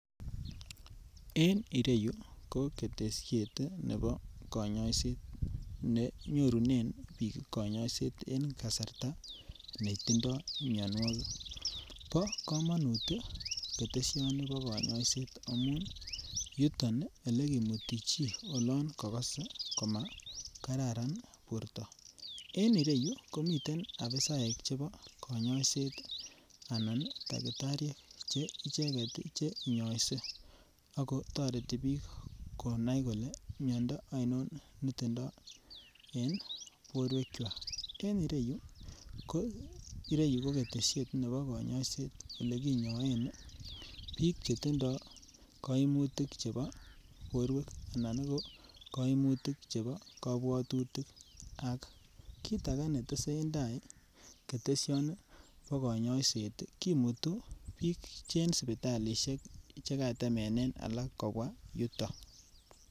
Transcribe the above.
En eriyu ko ketesiet nebo konyoiset ne nyorunen biik konyoiset en kasarta ne tindo mianwogik. Bo kamanut ketesioni bo konyoiset amun yuton elegimuni chi olan kagase koma kararan borto. En ireyu komiten apisaek chebo konyoiset anan takitariek che icheget che nyoise ago toreti biik konai kole miondo ainon netindo en borwekywak. En ireyu ko ketesiet nebo kanyaiset ole kinyoen biik che tindo kaimutik chebo borwek anan ko kaimutik chebo kabwatutik ak kit age netesentai ketesioni bo konyoiset kimutu biik en sipitalisiek che katemenen alak kobwa yutok.